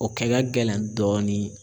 O kɛ ka gɛlɛn dɔɔni